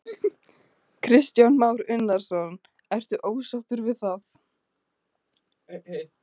Kristján Már Unnarsson: Ertu ósáttur við það?